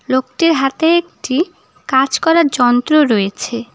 লোকটির হাতে একটি কাজ করার যন্ত্র রয়েছে।